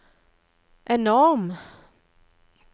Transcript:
enorm